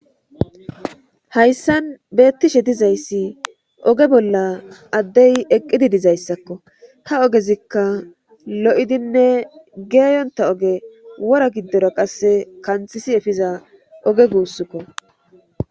Hayssan beettishe dizayssi oge bolla addey eqqidi dizayssakko ha ogezikka lo'idinne geeyonta oge wora giddora qasse kanthisi efiza oge guussukko